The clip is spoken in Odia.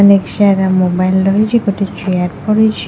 ଅନେକ ସାରା ମୋବାଇଲ ରହିଛି ଗୋଟେ ଚେୟାର ପଡିଛି।